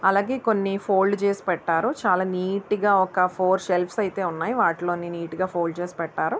అలాగే కొన్ని ఫోల్డ్ చేసి పెట్టారు. చాలా నీట్ గా ఒక ఫోర్ సెల్ఫ్ అయితే ఉన్నాయి. వాటిలో నీటు గా ఫోల్డ్ చేసి పెట్టారు.